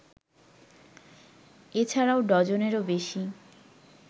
এ ছাড়াও ডজনেরও বেশি